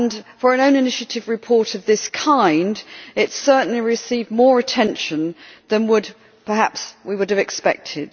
For an own initiative report of this kind it has certainly received more attention than perhaps we would have expected.